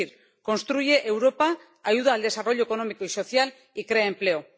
Es decir, construye Europa, ayuda al desarrollo económico y social y crea empleo.